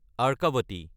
Arkavathi